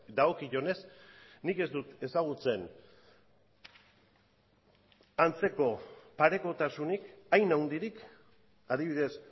dagokionez nik ez dut ezagutzen antzeko parekotasunik hain handirik adibidez